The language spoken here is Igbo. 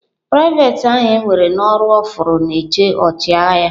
Private ahu ewere n'ọrụ ofuru na-eche ọchịagha ya.